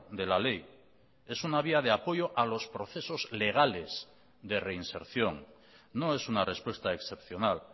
de la ley es una vía de apoyo a los procesos legales de reinserción no es una respuesta excepcional